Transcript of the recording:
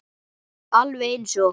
Alveg eins og